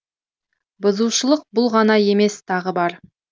бұзушылық бұл ғана емес тағы бар